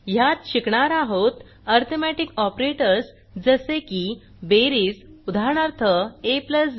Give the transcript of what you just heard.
ह्यात शिकणार आहोत अरिथमेटिक ऑपरेटर्स जसे की बेरीज उदाहरणार्थ ab